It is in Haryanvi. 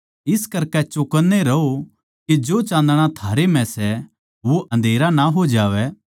इस करकै चौकन्ने रहो के जो चाँदणा थारै म्ह सै वो अँधेरा ना हो जावै